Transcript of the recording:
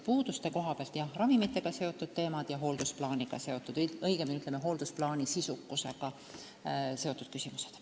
Puuduste koha pealt tuleb öelda, jah, et on eelkõige ravimitega seotud teemad ja hooldusplaani sisukusega seotud küsimused.